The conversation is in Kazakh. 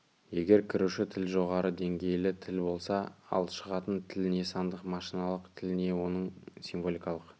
егер кіруші тіл жоғары деңгейлі тіл болса ал шығатын тіл не сандық машиналық тіл не оның символикалық